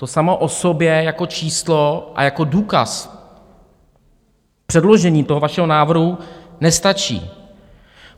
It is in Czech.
To samo o sobě jako číslo a jako důkaz předložení toho vašeho návrhu nestačí.